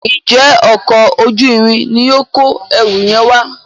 njé Ọkọ̀ ojú-irin ní yóò kọ ẹrù yen wá?